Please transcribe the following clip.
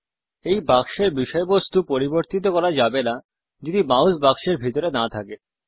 এই বাক্সের বিষয়বস্তু পরিবর্তিত করা যাবে না যদি মাউস বাক্সের ভিতরে না থাকে